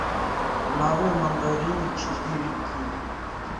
нарой мандарины четыре кей